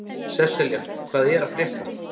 Sesselja, hvað er að frétta?